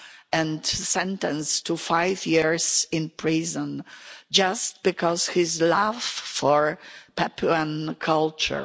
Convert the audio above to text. and sentenced to five years in prison just because of his love for Papuan culture.